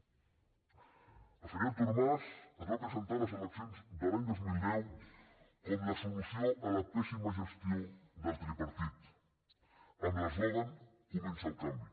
el senyor artur mas es va presentar a les eleccions de l’any dos mil deu com la solució a la pèssima gestió del tripartit amb l’eslògan comença el canvi